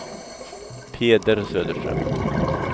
Peder Söderström